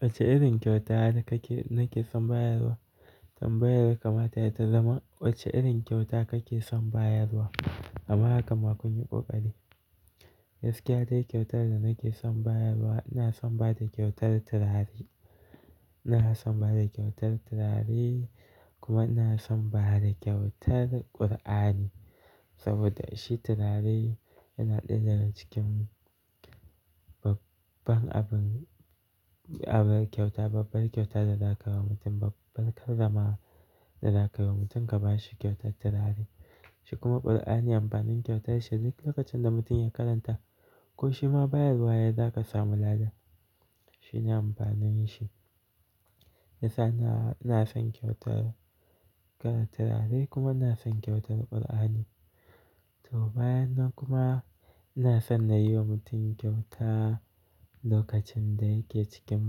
Wacce irin kyauta nake son bayarwa? Tambayar kamata ya ta zama wacce irin kyauta kake son bayarwa? Amma haka ma kun yi ƙoƙari. Gaskiya dau kyautar da nake son bayarwa, ina son bada kyautar turare. Ina son bada kyautar turare kuma ina son bada kyautar Ƙur'ani. Saboda shi turare yana ɗaya daga cikin babbar abin, abin kyauta, babbar kyauta da za ka yi wa mutum, babbar karramawa da za ka yi wa mutum ka ba shi kyautar turare. Shi kuma Ƙur'ani amfanin kyautar shi duk lokacin da mutum ya karanta ko shi ma bayarwa yayi za ka samu lada. Shi ne amfanin shi. Ina, ina son kyautar irin turare kuma ina son kyautar Ƙur'ani. To bayanan kuma ina so na yi wa mutum kyauta lokacin da yake cikin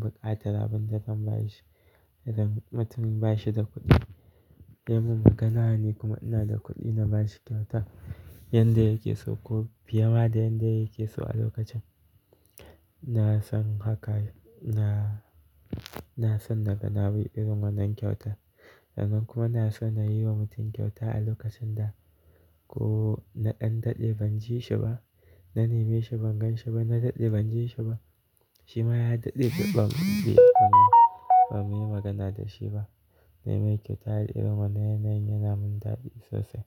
buƙatar abin da zan ba shi, idan mutumin ba shi da kuɗi. Yayi min magana ne kuma ina da kuɗi na ba shi kyauta yanda yake so ko fi ye ma da yanda yake so a lokacin. Na san haka, na, na san na gana wai irin wannan kyauta. Nan kuma na so na yi wa mutum kyauta a lokacin da ko na ɗan daɗe ban ji shi ba, na neme shi ban gan shi ba, na ɗan daɗe ban ji shi ba. Shi ma ya daɗe bai ba mu yi magana da shi ba. Nemi kyauta al'amuran na yanayin ya mun daɗi sosai.